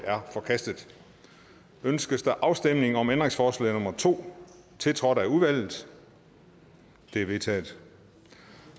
er forkastet ønskes der afstemning om ændringsforslag nummer to tiltrådt af udvalget det er vedtaget